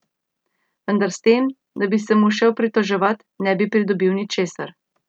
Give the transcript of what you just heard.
Vendar s tem, da bi se mu šel pritoževat, ne bi pridobil ničesar.